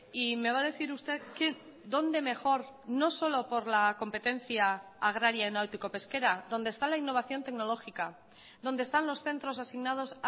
y me va a decir usted que dónde mejor no solo por la competencia agraria náutico pesquera donde está la innovación tecnológica donde están los centros asignados